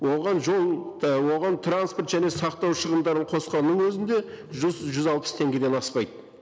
оған жол оған транспорт және сақтау шығындарын қосқанның өзінде жүз жүз алпыс теңгеден аспайды